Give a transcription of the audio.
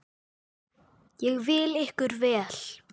Ég vil ykkur vel.